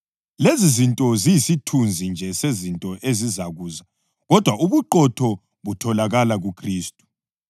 Lezizinto ziyisithunzi nje sezinto ezazizakuza kodwa ubuqotho butholakala kuKhristu.